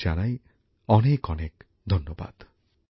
প্রধানমন্ত্রীর পুরো অনুষ্ঠানটি হিন্দিতে সম্প্রচারিত হয়েছে